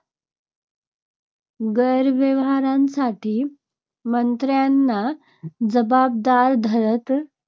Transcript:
गैरव्यवहारांसाठी मंत्र्यांना जबाबदार धरते.